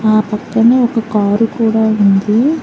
ఆ పక్కనే ఒక కారు కూడా ఉంది.